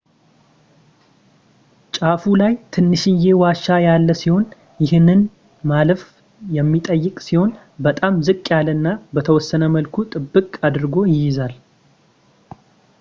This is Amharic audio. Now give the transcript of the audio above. ጫፉ ላይ ትንሽዬ ዋሻ ያለ ሲሆን ይህንን ማለፍ የሚጠይቅ ሲሆን በጣም ዝቅ ያለና በተወሰነ መልኩ ጥብቅ አድርጎ ይይዛል